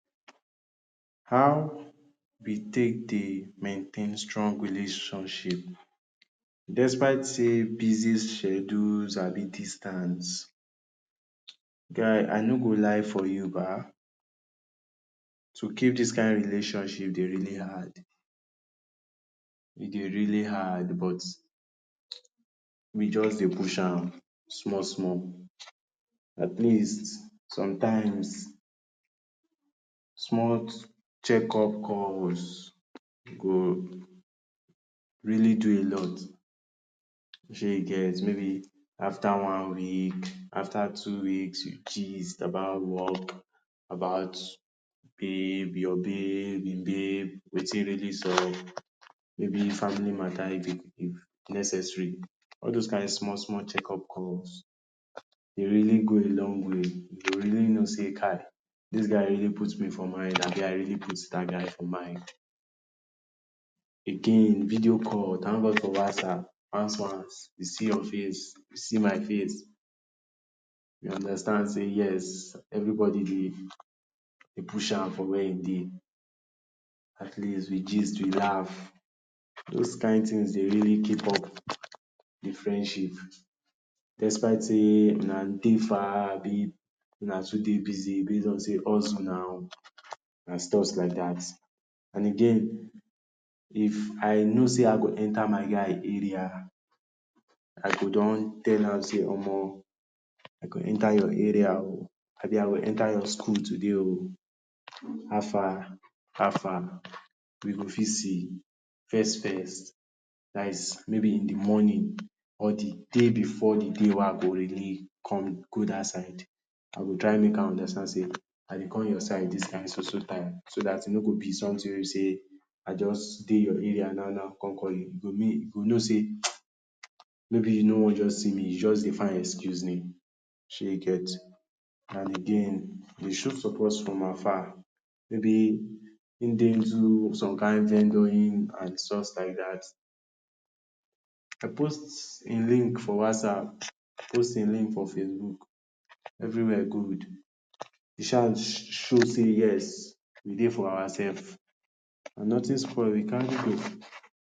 How we take dey maintain strong relationship despite sey busy schedules abi distance. Guy I no go lie for you ba, to keep dis kain relationship dey really hard. E dey really hard but we just dey push am small small. At least sometimes small checkup calls go really do a lot, shey you get. Maybe after one week, after two weeks, you gist about work, about babe, your babe, im babe, wetin really sup, maybe family mata if if necessary. All those kain small small checkup calls dey really go a long way. You go really know sey kai dis guy really put me for mind, abi I really put dat guy for mind. Again, video call. Thank God for Whatsapp. Once once you see your face, I see my face. You understand sey yes everybody dey push am for where im dey. At least we gist, we laugh. Those kain things dey really keep up de friendship despite sey una dey far abi una too dey busy base on sey huzzle now and stuffs like dat. And again, if I know sey I go enter my guy area, I go don tell am sey omo I go enter your area o, abi I go enter your school today o, how far how far we go fit see first first, dat is maybe in de morning or de day before de day wey I go really come go dat side. I go try make am understand sey I dey come your side dis kain so so time, so dat e no go be something wey be sey I just dey your area now now come call you. You go you go know sey maybe you no wan just see me, you just dey find excuse ni, shey you get? And again dey show support from afar. Maybe im dey into some kind vendoring and stuff like dat, I post im link for Whatsapp, post im link for Facebook, everywhere good. show sey yes we dey for our sef, and nothing spoil, we carry go.